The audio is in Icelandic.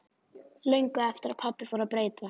Löngu eftir að pabbi fór að breytast.